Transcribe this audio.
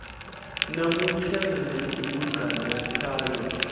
na mutshena na tshibudzana tshayo